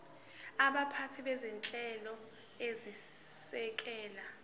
baphathi bezinhlelo ezisekela